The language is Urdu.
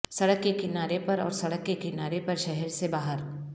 سڑک کے کنارے پر اور سڑک کے کنارے پر شہر سے باہر